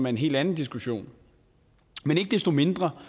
en helt anden diskussion men ikke desto mindre